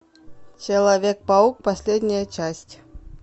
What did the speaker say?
человек паук последняя часть